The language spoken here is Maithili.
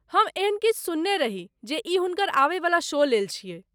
हम एहन किछु सुनने रही जे ई हुनकर आबयवला शो लेल छियै।